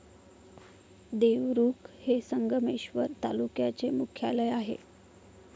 देवरुख हे संगमेश्वर तालुक्याचे मुख्यालय आहे.